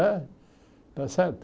Né está certo?